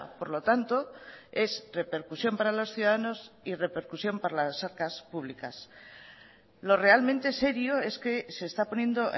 por lo tanto es repercusión para los ciudadanos y repercusión para las arcas públicas lo realmente serio es que se está poniendo